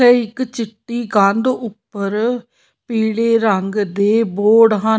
ਇੱਕ ਚਿੱਟੀ ਕੰਧ ਉੱਪਰ ਪੀਲੇ ਰੰਗ ਦੇ ਬੋਰਡ ਹਨ।